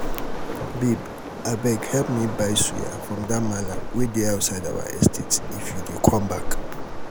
babe abeg help me buy suya from dat mallam wey dey outside our estate if you dey come back